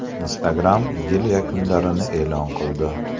Instagram yil yakunlarini e’lon qildi .